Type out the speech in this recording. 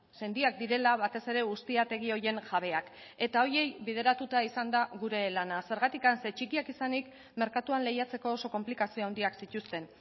sendiak direla batez ere ustiategi horien jabeak eta horiei bilatuta izan da gure lana zergatik zeren txikiak izanik merkatuan lehiatzeko oso konplikazio handia zituzten